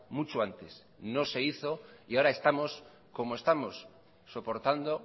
mucho antes no se hizo y ahora estamos como estamos soportando